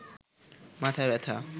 মাথা ব্যাথা